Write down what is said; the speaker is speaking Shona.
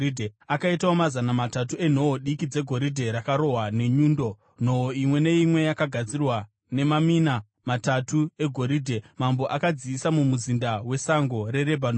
Akaitawo mazana matatu enhoo diki dzegoridhe rakarohwa nenyundo, nhoo imwe neimwe yakagadzirwa nemamina matatu egoridhe. Mambo akadziisa muMuzinda weSango reRebhanoni.